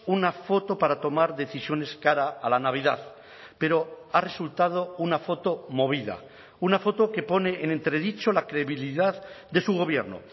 una foto para tomar decisiones cara a la navidad pero ha resultado una foto movida una foto que pone en entredicho la credibilidad de su gobierno